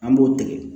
An b'o tigɛ